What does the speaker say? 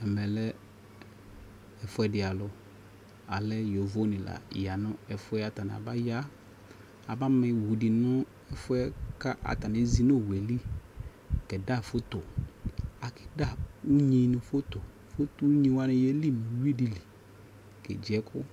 ɛmɛ lɛ ɛƒʋɛdi alʋ, alɛ yɔvɔ ni la yanʋ ɛƒʋɛ Atani abaya aba ma ɔwʋ di nʋ ɛƒʋɛ ka atani ɛzi nʋ ɔwʋɛli kɛda phɔtɔ, akɛ da ʋnyi ni phɔtɔ, ʋnyi wa yɛli nʋ ʋwi dili kɛ gyi ɛkʋ